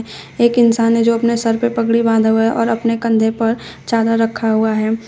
एक इंसान है जो अपने सर पर पगड़ी बांध हुआ और अपने कंधे पर चादर रखा हुआ है।